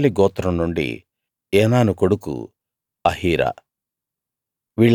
Naphtali గోత్రం నుండి Enan కొడుకు అహీర